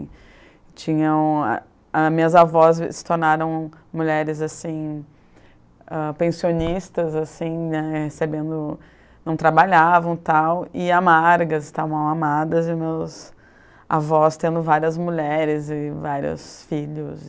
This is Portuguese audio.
Tinha um, a a minhas avós se tornaram mulheres assim, ah, pensionistas assim, né, recebendo não trabalhavam, tal, e amargas, amadas, e meus avós tendo várias mulheres e vários filhos.